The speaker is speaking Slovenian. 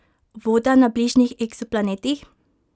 Voda na bližnjih eksoplanetih?